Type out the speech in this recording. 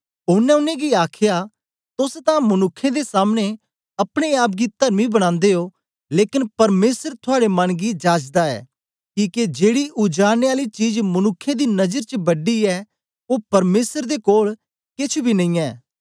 ओनें उनेंगी आखया तोस तां मनुक्खें दे सामने अपने आप गी तरमी बनादे ओ लेकन परमेसर थुआड़े मन गी जाचदा ऐ किके जेड़ी उजाड़ने आली चीज मनुक्खें दी नजर च वड्डी ऐ ओ परमेसर दे कोल केछ बी नेई ऐ